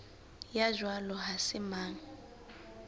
ya jwalo ha se mang